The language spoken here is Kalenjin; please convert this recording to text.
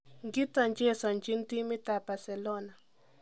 Ngito chesonjin timit ab Barcelona.